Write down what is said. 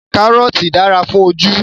Kàrọ́ọ̀tì dára fún ojú